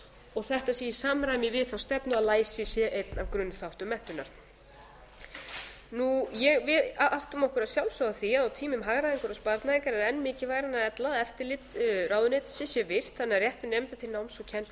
og þetta sé í samræmi við þá stefnu að læsi sé einn af grunnþáttum menntunar við áttum okkur að sjálfsögðu á því að á tímum hagræðingar og sparnaðar er enn mikilvægara en ella að eftirlit ráðuneytisins sé virkt þannig að réttur nemenda til náms og kennslu sé tryggður